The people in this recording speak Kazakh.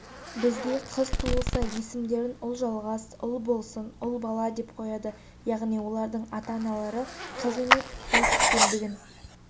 бізде қыз туылса есімдерін ұлжалғас ұлбосын ұлбала деп қояды яғни олардың ата-аналары қыз емес ұл күткендігін